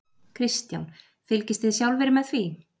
Kristján: Fylgist þið sjálfir með því?